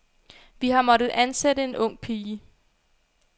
Vi har måttet ansætte en ung pige.